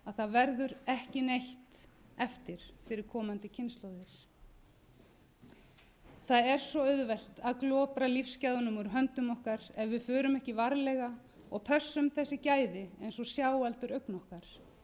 það verður ekki neitt eftir fyrir komandi kynslóðir það er svo auðvelt að glopra lífsgæðunum úr höndum okkar ef við förum ekki varlega og pössum þessi gæði eins og sjáaldur augna okkar